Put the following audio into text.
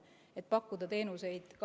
Austatud vastaja, teie aeg!